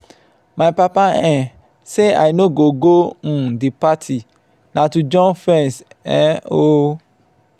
my papa um say i no go go um the party na to jump fence um oo